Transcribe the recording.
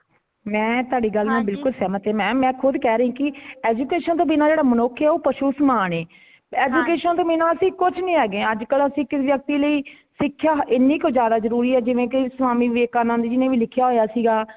ਮੈਂ ਤੁਹਾਡੀ ਗੱਲ ਨਾਲ ਬਿਲਕੁਲ ਸਹਿਮਤ ਹਾਂ, mam ਮੈਂ ਖੁਦ੍ਹ ਕਹਿ ਰਹੀ ਕੀ education ਬਿਨਾ ਜੋ ਮਨੁੱਖ ਹੇ ਉਹ ਪਸ਼ੂ ਸਮਾਨ ਹੇ education ਬਿਨਾਂ ਅਸੀਂ ਕੁਝ ਨਹੀਂ ਹੇਗੇ ਅਜੇ ਕੱਲ ਕਿਸੀ ਵਿਅਕਤੀ ਲਾਇ ਸਿਖ੍ਯਾ ਏਨੀ ਕੁ ਜ਼ਿਆਦਾ ਜਰੂਰੀ ਹੈ। ਜਿਵੇਂਕਿ ਸਵਾਮੀ ਵਿਵੇਕਾਨੰਦ ਜੀ , ਜਿਨੇ ਵੀ ਲਿਖਿਆ ਹੋਇਆ ਸੀਗਾ